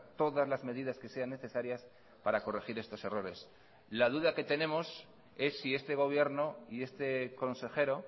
todas las medidas que sean necesarias para corregir estos errores la duda que tenemos es si este gobierno y este consejero